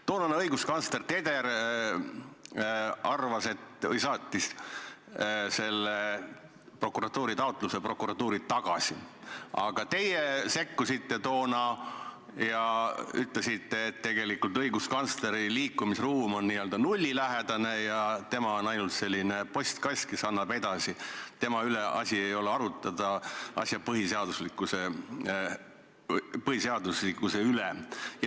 Toonane õiguskantsler Teder saatis selle prokuratuuri taotluse prokuratuuri tagasi, aga teie sekkusite ja ütlesite, et tegelikult on õiguskantsleri liikumisruum n-ö nullilähedane, tema on ainult selline postkast, kes annab taotluse edasi, tema asi ei ole arutada asja põhiseaduslikkuse üle.